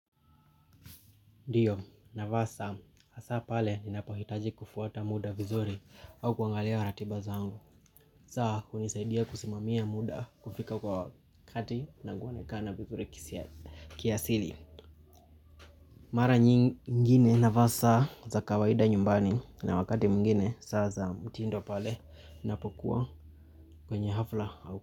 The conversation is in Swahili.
Ndiyo navaa saa hasa pale ninapohitaji kufuata muda vizuri au kuangalia ratiba zangu saa kunisaidia kusimamia muda kufika kwa wakati na kuonekana kana vizuri kiasili. Mara nyingine navaa saa za kawaida nyumbani na wakati mungine saa za mtiindo pale napokuwa kwenye hafla au kwa.